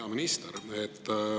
Hea minister!